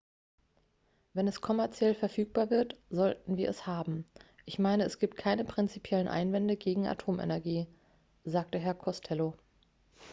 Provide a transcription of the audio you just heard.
"""wenn es kommerziell verfügbar wird sollten wir es haben. ich meine es gibt keine prinzipiellen einwände gegen atomenergie" sagte herr costello.